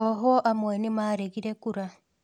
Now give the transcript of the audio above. Ohwo amwe nĩmaregire kũra